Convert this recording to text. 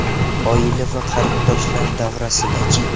Oila va qarindoshlar davrasida-chi?